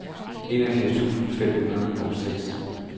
enogfirs tusind fem hundrede og seks